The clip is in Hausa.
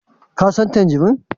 Ka San tangerine?